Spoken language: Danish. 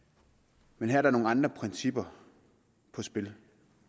men her er der nogle andre principper på spil